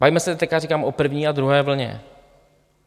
Bavíme se teď, říkám, o první a druhé vlně.